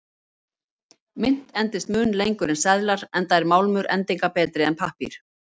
Mynt endist mun lengur en seðlar, enda er málmur endingarbetri en pappír.